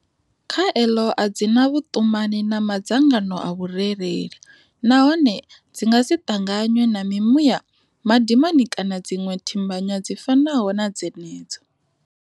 Khaelo a dzi na vhuṱumani na ma dzangano a vhurereli nahone dzi nga si ṱanganywe na mimuya, madimoni kana dziṅwe thimbanywa dzi fanaho na dzenedzo.